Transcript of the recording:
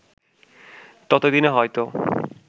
তত দিনে হয়তো